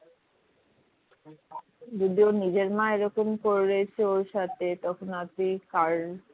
যদি ওর নিজের মা এরকম করেছে ওর সাথে তখন আর তুই কার